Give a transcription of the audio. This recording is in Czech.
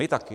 My taky.